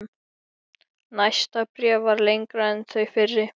Katharina, hækkaðu í græjunum.